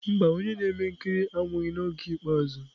Mba, onye na-eme ihe nkiri anwụghị n'oge ikpeazụ.